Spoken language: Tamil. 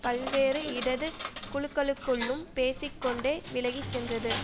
பல்வேறு இடது குழுக்களுக்குள்ளும் பேசி கொண்டே விலகி சென்றது